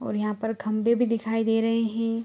और यहाॅं पर खंभे भी दिखाई दे रहे हें ।